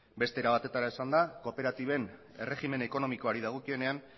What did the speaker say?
beste era batetara esanda kooperatiben erregimen ekonomikoari dagokionean